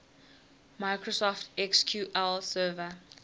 microsoft sql server